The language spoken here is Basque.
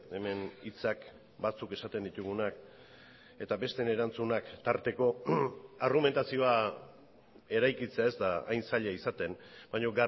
hemen hitzak batzuk esaten ditugunak eta besteen erantzunak tarteko argumentazioa eraikitzea ez da hain zaila izaten baina